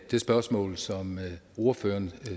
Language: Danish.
det spørgsmål som ordføreren